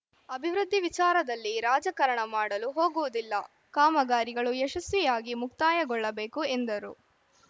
ಅಭಿವೃದ್ಧಿ ವಿಚಾರದಲ್ಲಿ ರಾಜಕರಣ ಮಾಡಲು ಹೋಗುವುದಿಲ್ಲ ಕಾಮಗಾರಿಗಳು ಯಶಸ್ವಿಯಾಗಿ ಮುಕ್ತಾಯಗೊಳ್ಳಬೇಕು ಎಂದರು